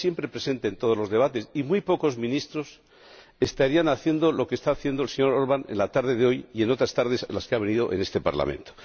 Está aquí presente en todos los debates y muy pocos ministros estarían haciendo lo que está haciendo el señor Orbán en la tarde de hoy y en otras tardes en las que ha venido a este Parlamento.